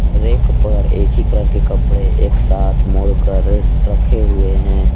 Rack पर एक ही कलर के कपड़े एक साथ मोड़ कर रखे हुए हैं।